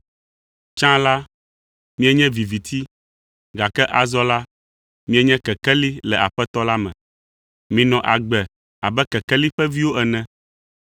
Tsã la, mienye viviti, gake azɔ la, mienye kekeli le Aƒetɔ la me. Minɔ agbe abe kekeli ƒe viwo ene.